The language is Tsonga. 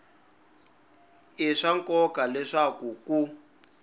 i swa nkoka leswaku ku